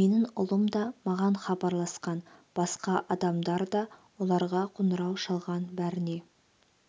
менің ұлым да маған хабарласқан басқа адамдар да оларға қоңырау шалған бәріне